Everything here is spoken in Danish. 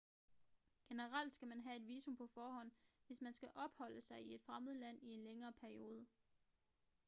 generelt skal man have et visum på forhånd hvis man skal opholde sig i et fremmed land i en længere periode